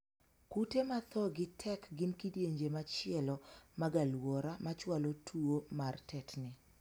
Kute ma thoo gi tek gin kidienje machielo mag aluora machwalo tuo mar tetni.